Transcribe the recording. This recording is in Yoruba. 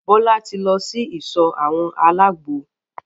Bọ́lá tí lọ sí ìsọ̀ àwọn àlágbo.